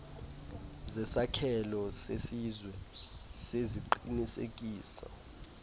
zesakhelo sesizwe seziqinisekiso